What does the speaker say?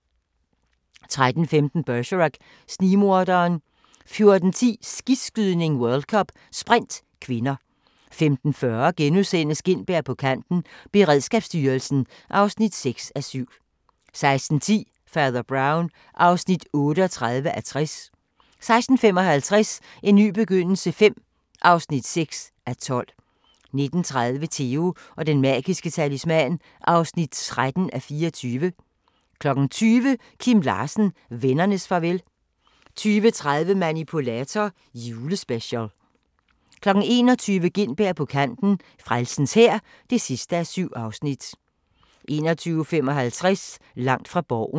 13:15: Bergerac: Snigmorderen 14:10: Skiskydning: World Cup - Sprint (k) 15:40: Gintberg på kanten – Beredskabsstyrelsen (6:7)* 16:10: Fader Brown (38:60) 16:55: En ny begyndelse V (6:12) 19:30: Theo & den magiske talisman (13:24) 20:00: Kim Larsen – vennernes farvel 20:30: Manipulator – Julespecial 21:00: Gintberg på kanten – Frelsens Hær (7:7) 21:55: Langt fra Borgen